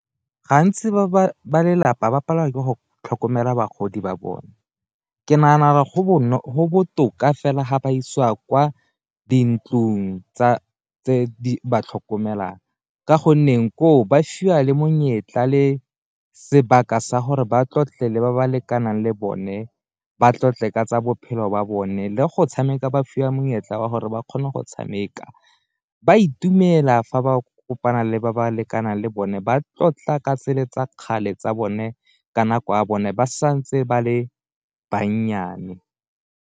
Gantsi ba lelapa ba palelwa ke go tlhokomela bagodi ba bone ke nagana go botoka fela ga ba isiwa kwa dintlong tse di ba tlhokomelang, ka gonne koo ba fiwa le monyetla le sebaka sa gore ba tlotle pele ba ba lekanang le bone, ba tlotle ka tsa bophelo ba bone le go tshameka ba fiwa monyetla wa gore ba kgone go tshameka. Ba dumela fa ba kopana le ba ba lekanang le bone ba tlotla ka tsele tsa kgale tsa bone ka nako ya bone ba santse ba le bannyane.